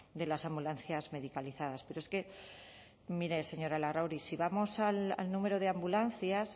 de las ambulancias medicalizadas pero es que mire señora larrauri si vamos al número de ambulancias